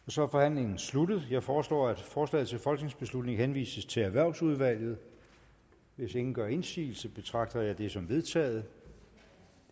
så er forhandlingen sluttet jeg foreslår at forslaget til folketingsbeslutning henvises til erhvervsudvalget hvis ingen gør indsigelse betragter jeg det som vedtaget